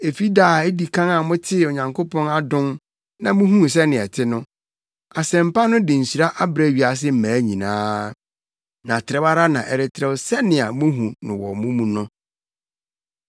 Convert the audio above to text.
Efi da a edi kan a motee Onyankopɔn adom na muhuu sɛnea ɛte no, Asɛmpa no de nhyira abrɛ wiase mmaa nyinaa, na trɛw ara na ɛretrɛw sɛnea muhu no wɔ mo mu no.